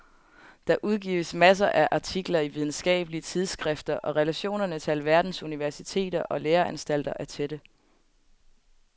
Der udgives masser af artikler i videnskabelige tidsskrifter og relationerne til alverdens universiteter og læreanstalter er tætte.